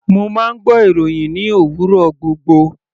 Mo máa ń gbọ́ ìròhìn ní òwúrọ̀ gbogbo.